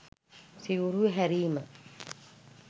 සිවුරු හැරීම